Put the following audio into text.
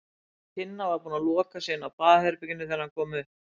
Tinna var búin að loka sig inni á baðherberginu þegar hann kom upp.